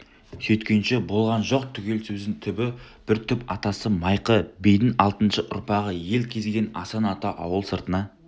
сөйткенше болған жоқ түгел сөздің түбі бір түп атасы майқы бидіңалтыншы ұрпағы ел кезген асан ата ауыл сыртына